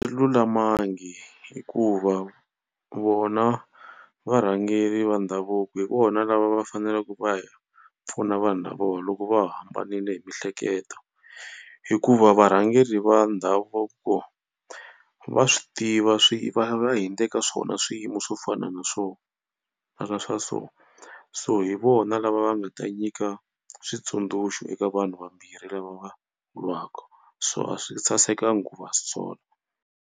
lulamangi hikuva vona varhangeri va ndhavuko hi vona lava va faneleke va hi pfuna vanhu lavawa loko va hambanile hi miehleketo hikuva varhangeri va ndhavuko va swi tiva va hundze ka swona swiyimo swo fana na swo na swa so so hi vona lava va nga ta nyika switsundzuxo eka vanhu vambirhi lava va lwaka so a swi sasekanga ku va sola.